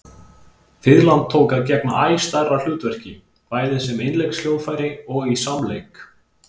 Fiðlan tók að gegna æ stærra hlutverki, bæði sem einleikshljóðfæri og í samleik.